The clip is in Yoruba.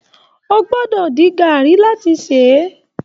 O gbọ́dọ̀ dín gàrí láti ṣe é.